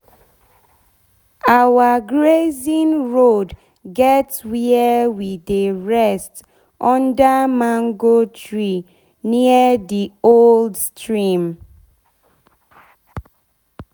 our grazing road get where we dey rest under mango tree near d old stream.